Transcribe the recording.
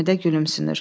Həmidə gülümsünür.